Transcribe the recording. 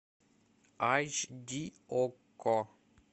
айч ди окко